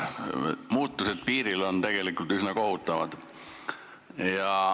Muutused piiril on tegelikult üsna kohutavad.